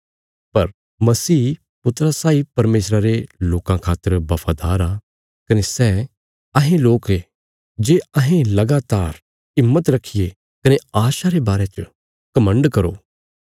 पर मसीह पुत्रा साई परमेशरा रे लोकां खातर बफादार आ कने सै अहें लोक ये जे अहें लगातार हिम्मत रखिये कने आशा रे बारे च घमण्ड करो